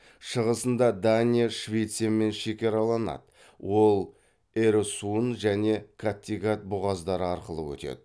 шығысында дания швециямен шекараланады ол эресунн және каттегат бұғаздары арқылы өтеді